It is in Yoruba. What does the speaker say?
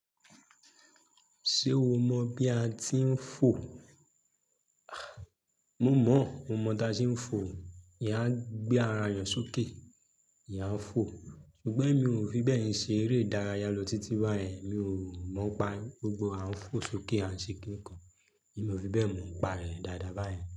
Ṣé o mọ bí a ti ń fò? Mo mọ, mo mọ tá a ṣe ń fò. Eeyan ń gbé ara èèyàn sókè, eeyan ń fò. Ṣùgbọ́n mi ò fi bẹ́ẹ̀ ṣe eré ìdárayá lọ títí báyen, mi ò mọ̀ pe gbogbo a ń fò sókè à se kíkàn. Emi ò fi bẹ́ẹ̀ mọ̀ pe rẹ̀ dáadáa báyen.